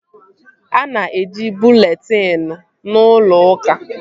A na-eji bụleetịn n'ụlọ uka